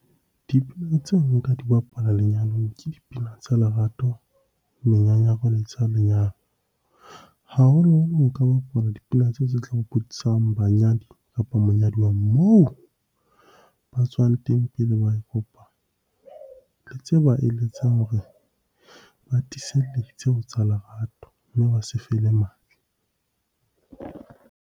Dipina tse nka di bapala lenyalong ke dipina tsa lerato, menyanyako le tsa lenyalo. Haholoholo nka bapala dipina tseo tse tlang hopotsang, banyadi kapa monyaduwa moo ba tswang teng pele ba kopana. Le tse ba eletsang hore ba tiiselletse ho tsa lerato, mme ba se fele matla.